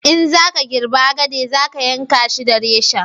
in za ka girbi agade za ka yanka shi da reshen